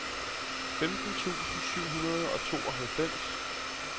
femten tusind syv hundrede og tooghalvfems